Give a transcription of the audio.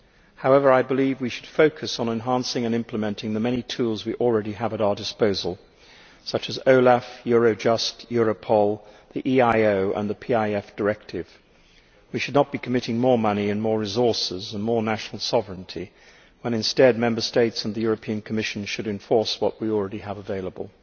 However, I believe we should focus on enhancing and implementing the many tools we already have at our disposal such as OLAF, Eurojust, Europol, the EIO and the PIF directive. We should not be committing more money, more resources and more national sovereignty when instead Member States and the Commission should enforce what we already have available.